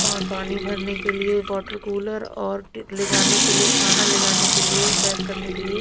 और पानी भरने के लिए वाटर कूलर और ले जाने के लिए खाना ले जाने के लिए पैक करने के लिए--